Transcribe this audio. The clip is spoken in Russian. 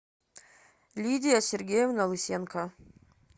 лидия сергеевна лысенко